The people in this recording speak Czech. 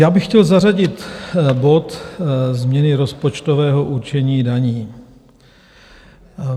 Já bych chtěl zařadit bod Změny rozpočtového určení daní.